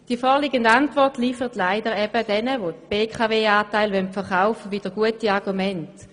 Die vorliegende Antwort liefert leider denjenigen, die die BKW-Anteile verkaufen wollen, wieder gute Argumente.